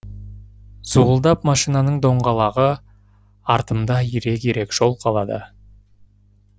зуылдап машинаның доңғалағы артымда ирек ирек жол қалады